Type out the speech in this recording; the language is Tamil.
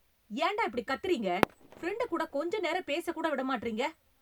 ஏண்டா இப்படி கத்தறீங்க? பிரெண்டு கூட கொஞ்ச நேரம் பேச கூட விட மாட்றீங்க